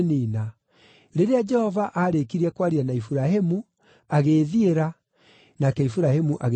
Rĩrĩa Jehova aarĩkirie kwaria na Iburahĩmu, agĩĩthiĩra, nake Iburahĩmu agĩcooka mũciĩ.